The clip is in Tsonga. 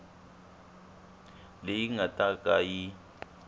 leyi nga ta ka yi